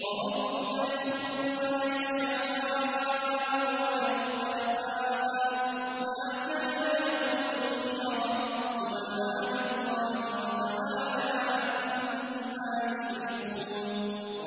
وَرَبُّكَ يَخْلُقُ مَا يَشَاءُ وَيَخْتَارُ ۗ مَا كَانَ لَهُمُ الْخِيَرَةُ ۚ سُبْحَانَ اللَّهِ وَتَعَالَىٰ عَمَّا يُشْرِكُونَ